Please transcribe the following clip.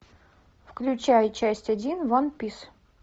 включай часть один ван пис